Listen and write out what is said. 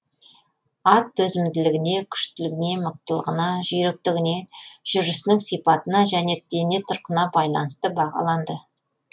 ат төзімділігіне күштілігіне мықтылығына жүйріктігіне жүрісінің сипатына және дене тұрқына байланысты бағаланды